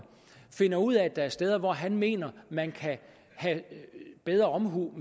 finder ud af at der er steder hvor han mener man kan have bedre omhu